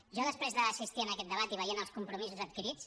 jo després d’assistir en aquest debat i veient els compromisos adquirits